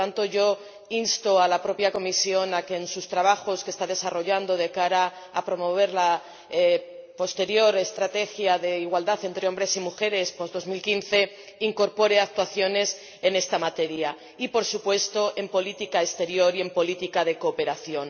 Por lo tanto, yo insto a la propia Comisión a que en los trabajos que está desarrollando para promover la Estrategia de igualdad entre hombres y mujeres después de 2015, incorpore actuaciones en esta materia y, por supuesto, en política exterior y en política de cooperación.